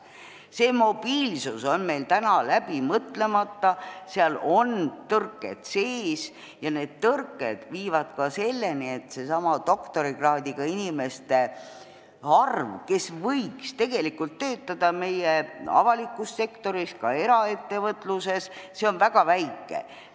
See mobiilsus on meil läbi mõtlemata, seal on tõrked sees ja need tõrked viivad selleni, et doktorikraadiga inimeste arv meie avalikus sektoris, ka eraettevõtluses, on väga väike.